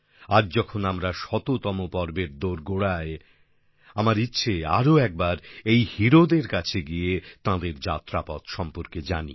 আজ যখন আমরা শততম পর্বের দোরগোড়ায় আমার ইচ্ছে আরও একবার এই হিরোদের কাছে গিয়ে তাঁদের যাত্রাপথ সম্পর্কে জানি